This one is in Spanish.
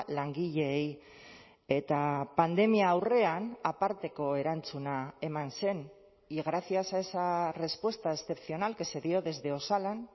langileei eta pandemia aurrean aparteko erantzuna eman zen y gracias a esa respuesta excepcional que se dio desde osalan